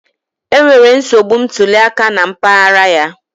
Enwere nsogbu ntuli aka na mpaghara ya